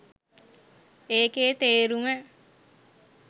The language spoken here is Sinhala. ඒකේ තේරුම